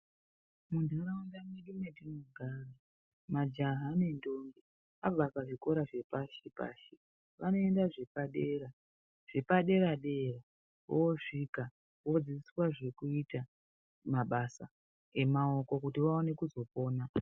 Munharaunda mwedu mwetinogara majaha nendombi abva pazvikoro zvepashi -pashi vanoenda zvepadera zvepaderadera oosvika odzidziswa zvekuita mabasa emaoko kuti vaone kuzopona.